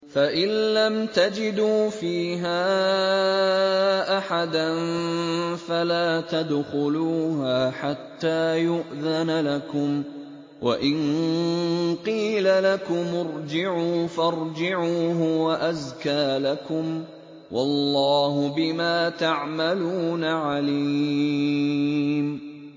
فَإِن لَّمْ تَجِدُوا فِيهَا أَحَدًا فَلَا تَدْخُلُوهَا حَتَّىٰ يُؤْذَنَ لَكُمْ ۖ وَإِن قِيلَ لَكُمُ ارْجِعُوا فَارْجِعُوا ۖ هُوَ أَزْكَىٰ لَكُمْ ۚ وَاللَّهُ بِمَا تَعْمَلُونَ عَلِيمٌ